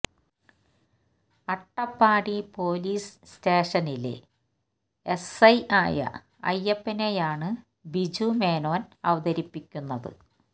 Attappadi police സ്റ്റേഷനിലെ S I ആയ അയ്യപ്പനെയാണ് ബിജു മേനോൻ അവതരിപ്പിക്കുന്നത്